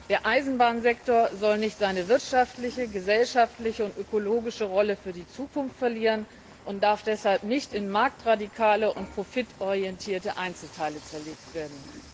Der Eisenbahnsektor soll nicht seine wirtschaftliche, gesellschaftliche und ökologische Rolle für die Zukunft verlieren und darf deshalb nicht in marktradikale und profitorientierte Einzelteile zerlegt werden.